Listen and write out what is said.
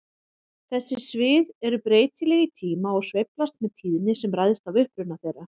Þessi svið eru breytileg í tíma og sveiflast með tíðni sem ræðst af uppruna þeirra.